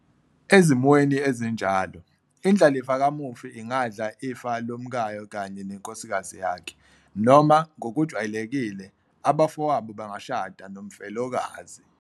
Ezimweni ezinjalo, indlalifa kamufi ingadla ifa lomkayo kanye nenkosikazi yakhe, noma, ngokujwayelekile, abafowabo bangashada nomfelokazi.